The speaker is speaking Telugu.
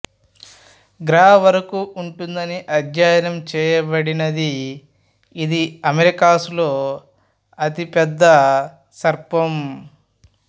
గ్రా వరకు ఉంటుందని అధ్యయనం చేయబడినది ఇది అమెరికాస్ లో అతి పెద్ద సర్పం